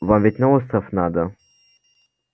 вам ведь на остров надо